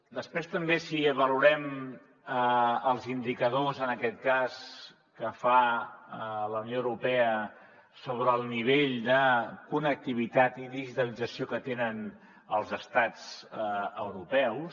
després també si valorem els indicadors en aquest cas que fa la unió europea sobre el nivell de connectivitat i digitalització que tenen els estats europeus